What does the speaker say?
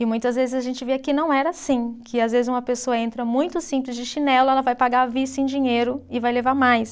E muitas vezes a gente via que não era assim, que às vezes uma pessoa entra muito simples de chinelo, ela vai pagar à vista em dinheiro e vai levar mais.